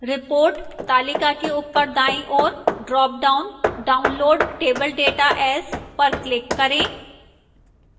report तालिका के ऊपर दाईं ओर dropdown download table data as पर click करें